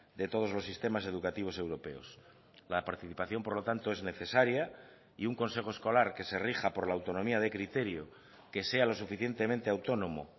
de todos los sistemas educativos europeos la participación por lo tanto es necesaria y un consejo escolar que se rija por la autonomía de criterio que sea lo suficientemente autónomo